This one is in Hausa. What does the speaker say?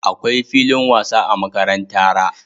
Akwai filin wasa a makarantara